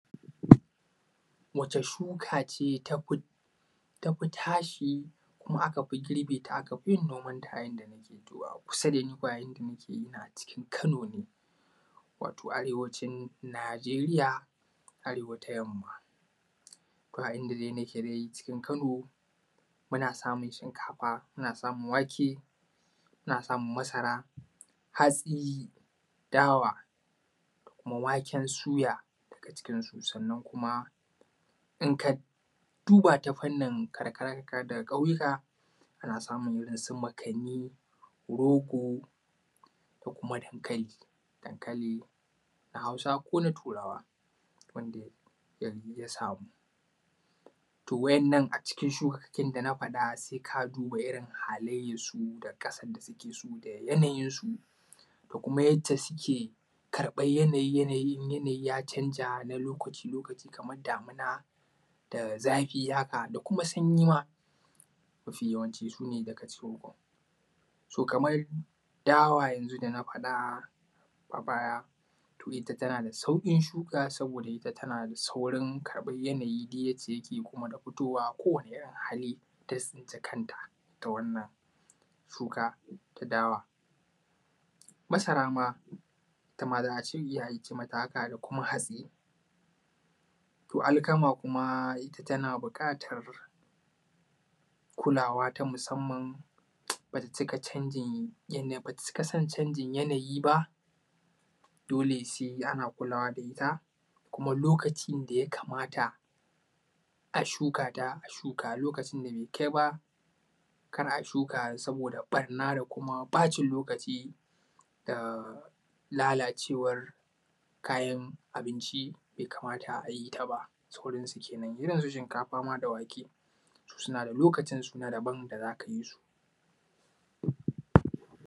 Wace shuka ce tafi tashi kuma aka fi girbe ta aka fi yin nomanta a inda nake, to a kusa da bi ba inda nake ina a cikin kano ne. Wato arewacin Najeriya Arewa ta yamma, a inda dai nake cikin Kano muna samun shinkafa muna samun wake muna samun masara hatsi da dawa da kuma waken suya daga cikinsu. Sannan kuma in ka duba ta fannin karkara za mu ga su makanni rogo da kuma dankalin na Hausa ko na Turawa wanda yanzu ya samu. To waɗannan a cikin shukokin da na sama za ka duba irin haliayarsu da yanayin jikinsu da kuma yadda suke karɓar yanayin idan yanayin ya canja kamar damuna da zafi haka da kuma sanyi ma mafi yawanci su ne daga ciki kam. Kamar dawa yanzu da na faɗa ita tana da saurin shuka da kamar yanayi yadda yake da kowane hali da ta tsinci kanta ita wannan shuka ta dawa. Masara ma ita ma za a ce mata haka da kuma hatsi. Ita alkama kuma tana buƙatar kulawa ba ta cika son canjin yanayi ba dole sai ana kulawa da ita kuma lokacin ya kamata a shuka ta a shuka ta in kuma lokacin bai kai ba kar a yi saboda ɓarna da kuma bacin lokaci da kuma lalalcewar kayan abinci bai kamata a yi ta ba da sauransu kenan. irinsu shinkafa ma da wake suna da lokacin na daban da zaka yi su.